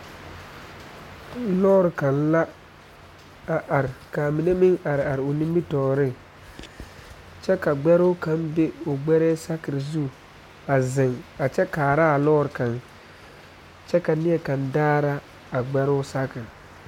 Lɔre kaŋ la a are kaa mine meŋ are are o nimitɔɔreŋ kyɛ ka gbɛoo kaŋ be o gbɛrɛɛ sakere zu a zeŋ a kyɛ kaara lɔɔr kaŋ kyɛ ka neɛkaŋ daara a gbɛoo saakere